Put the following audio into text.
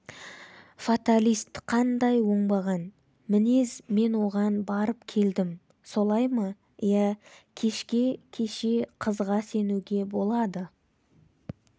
фаталист қандай оңбаған мінез мен оған барып келдім солай ма иә кеше кешке қызға сенуге болады